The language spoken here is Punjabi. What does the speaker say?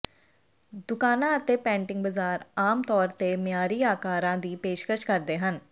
ਦੁਕਾਨਾਂ ਅਤੇ ਪੈਂਟਿੰਗ ਬਜ਼ਾਰ ਆਮ ਤੌਰ ਤੇ ਮਿਆਰੀ ਆਕਾਰਾਂ ਦੀ ਪੇਸ਼ਕਸ਼ ਕਰਦੇ ਹਨ